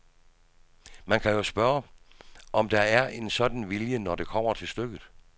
Man må jo spørge, om der er en sådan vilje, når det kommer til stykket.